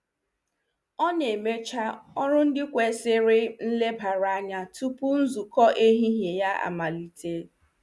Ọ na-emecha ọrụ ndị kwesiri nlebara anya tupu nzukọ ehihie ya amalite.